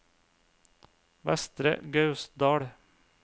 Vestre Gausdal